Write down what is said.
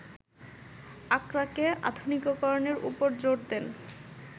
আক্রাকে আধুনিকরণের উপর জোর দেন